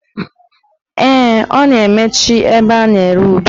Ee, a na-emechi ebe a na-ere ube